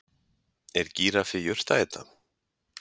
Er gíraffi jurtaæta?